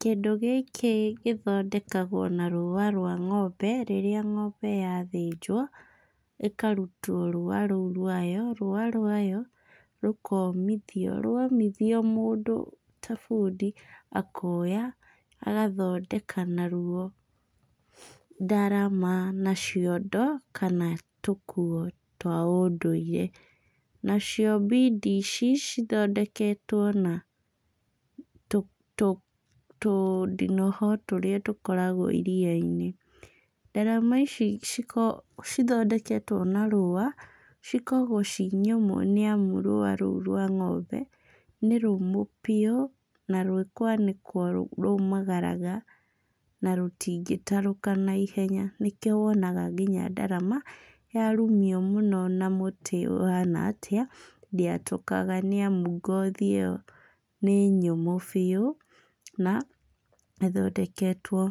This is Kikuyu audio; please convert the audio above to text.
Kĩndũ gĩkĩ gĩthondekagwo na rũwa rwa ng'ombe, rĩrĩa ng'ombe yathĩnjwo, ĩkarutwo rũwa rũu rwayo, rũwa rwayo rũkomitio. Rwomithio mũndũ ta bundi akoya, agathondeka naruo ndarama na ciondo, kana tũkuo twa ũndũire. Nacio mbindi ici, cithondeketwo na tũndinoho tũrĩa tũkoragwo iria-inĩ. Ndarama ici cikoragwo cithondeketwo na rũwa, cikoragwo ciĩnyũmũ nĩamu rũwa rũu rwa ng'ombe, nĩrũmũ biũ, na rwĩkwanĩkwo rũmagaraga na rũtingĩtarũka naihenya, nĩkĩo wonaga nyinya ndarama, yarumio mũno na mũtĩ ũhana atĩa, ndĩatũkaga nĩamu ngothi ũyo nĩnyũmũ biũ, na ĩthondeketwo